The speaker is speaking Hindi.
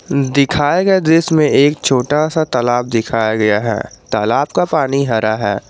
दिखाए गए दृश्य में एक छोटा सा तालाब दिखाया गया है तालाब का पानी हरा है।